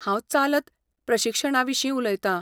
हांव चालंत प्रशिक्षणाविशीं उलयतां.